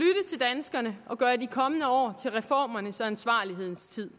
vi og gøre de kommende år til reformernes og ansvarlighedens tid